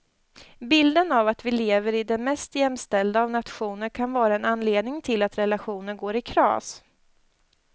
Bilden av att vi lever i den mest jämställda av nationer kan vara en anledning till att relationer går i kras.